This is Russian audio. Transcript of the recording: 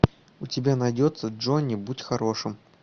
у тебя найдется джонни будь хорошим